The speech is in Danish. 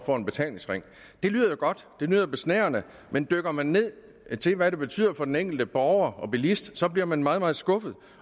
får en betalingsring det lyder jo godt det lyder besnærende men dykker man ned til hvad det betyder for den enkelte borger og bilist så bliver man meget meget skuffet